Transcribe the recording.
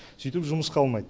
сөйтіп жұмысқа алмайды